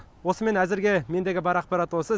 осымен әзірге мендегі бар ақпарат осы